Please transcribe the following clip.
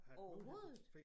Overhovedet